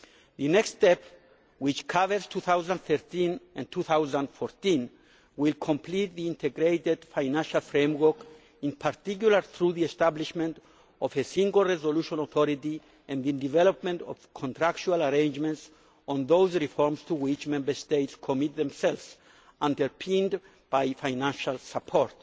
The next step, which covers 2013 and 2014, will complete the integrated financial framework, in particular through the establishment of a single resolution authority and the development of contractual arrangements on those reforms to which Member States commit themselves, underpinned by financial support.